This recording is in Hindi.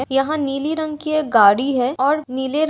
यहाँं नीली रंग की एक गाड़ी है और नीले रं --